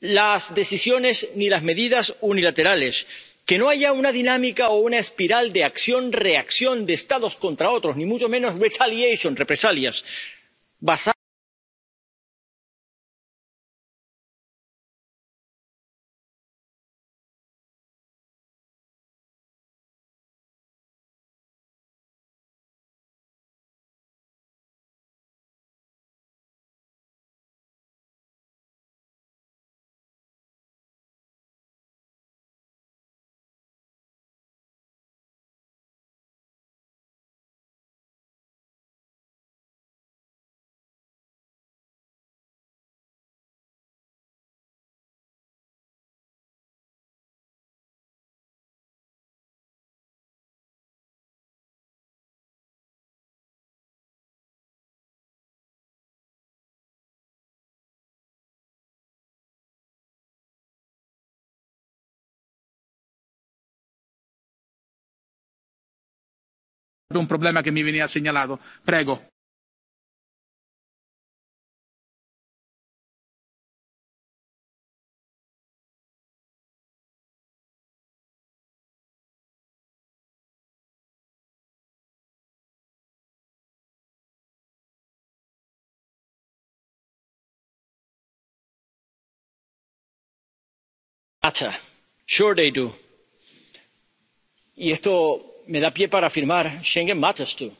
las decisiones, ni las medidas unilaterales que no haya una dinámica o una espiral de acción reacción de unos Estados contra otros, ni mucho menos retaliations —represalias—, basadas en la confianza mutua, en la solidaridad y en la coordinación y el respeto del Derecho. Estamos trabajando